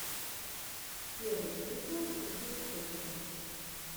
первый эпизод сергей косенко